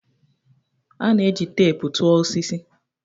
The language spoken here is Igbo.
A na-eji teepu tụọ osisi.